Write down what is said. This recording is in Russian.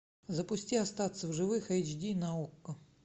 запусти остаться в живых эйч ди на окко